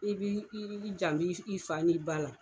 I b'i jando i fa ni ba la